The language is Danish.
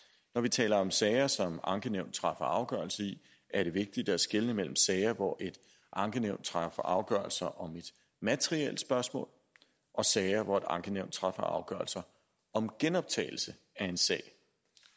når vi taler om sager som et ankenævn træffer afgørelse i er det vigtigt at skelne mellem sager hvor et ankenævn træffer afgørelser om et materielt spørgsmål og sager hvor et ankenævn træffer afgørelser om genoptagelse af en sag